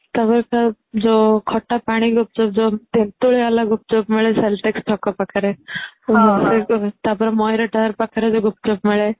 ତାପରେ ଯୋଉ ଖଟା ପାଣି ଗୁପ୍ଚୁପ ଯୋଉ ତେନ୍ତୁଳି ବାଲା ଗୁପ୍ଚୁପ ମିଳେ ଛକ ପାଖରେ ଆଉ ମୟୂର tower ପାଖରେ ଯୋଉ ଗୁପ୍ଚୁପ ମିଳେ